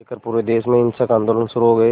लेकर पूरे देश में हिंसक आंदोलन शुरू हो गए